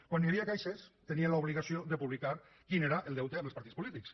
quan hi havia caixes tenien l’obligació de publicar quin era el deute amb els partits polítics